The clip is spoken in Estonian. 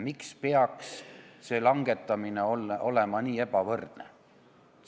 Miks peaks see langetamine olema nii ebavõrdne?